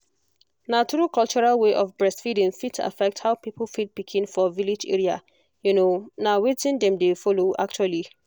na true cultural way of breastfeeding fit affect how people feed pikin for village area um na wetin dem dey follow actually.